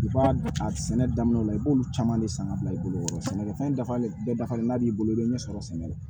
I b'a a sɛnɛ daminɛ la i b'olu caman de san ka bila i bolo sɛnɛkɛfɛn dafalen bɛɛ dafalen n'a b'i bolo i bɛ ɲɛ sɔrɔ sɛnɛ la